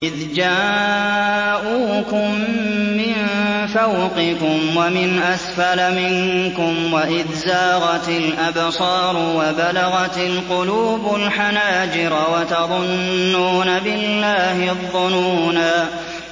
إِذْ جَاءُوكُم مِّن فَوْقِكُمْ وَمِنْ أَسْفَلَ مِنكُمْ وَإِذْ زَاغَتِ الْأَبْصَارُ وَبَلَغَتِ الْقُلُوبُ الْحَنَاجِرَ وَتَظُنُّونَ بِاللَّهِ الظُّنُونَا